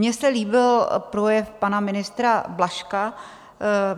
Mně se líbil projev pana ministra Blažka.